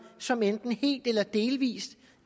som enten helt eller delvist